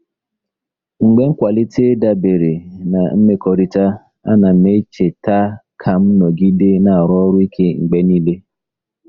Mgbe nkwalite dabere na mmekọrịta, ana m echeta ka m nọgide na-arụ ọrụ ike mgbe niile.